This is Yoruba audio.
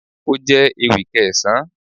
Ó jẹ́ ewì Kẹsan